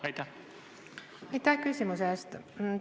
Aitäh küsimuse eest!